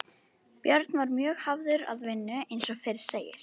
Björn var mjög hafður að vinnu eins og fyrr segir.